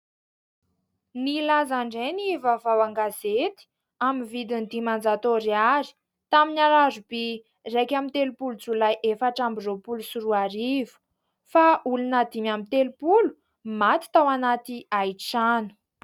Nilaza indray ny vavaoan-gazety amin ny vidiny dimanjato ariary tamin'ny alarobia iraika ambinitelopolo jolay efatra ambiny roapolo sy roa arivo fa olona dimy ambinitepolo no maty tao anaty haitrano .